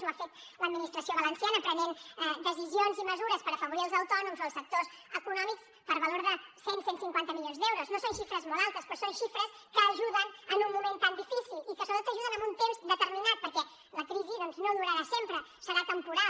ho ha fet l’administració valenciana prenent decisions i mesures per afavorir els autònoms o els sectors econòmics per valor de cent cent i cinquanta milions d’euros no són xifres molt altes però són xifres que ajuden en un moment tan difícil i que sobretot ajuden en un temps determinat perquè la crisi doncs no durarà sempre serà temporal